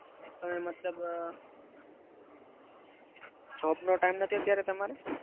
તમે મતલબ અમ job નો time નથી અત્યારે તમારે?